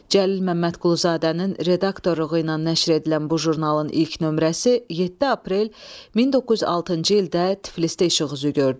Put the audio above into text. Cəlil Məmmədquluzadənin redaktorluğu ilə nəşr edilən bu jurnalın ilk nömrəsi 7 aprel 1906-cı ildə Tiflisdə işıq üzü gördü.